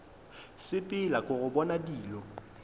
sepela ke go bona dilo